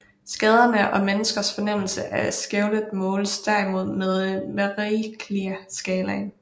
Skaderne og menneskers fornemmelse af skælvet måles derimod med Mercalliskalaen